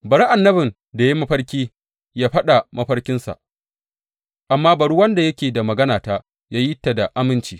Bari annabin da ya yi mafarki ya faɗa mafarkinsa, amma bari wanda yake da maganata ya yi ta da aminci.